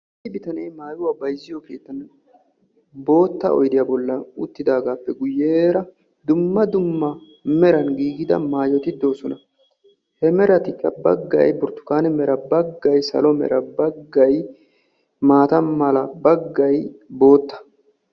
issi bittane maayo keettani oydiyaa bolani uttissi amiyanikka dumma dumma merara de"iya maayoti de"oosona.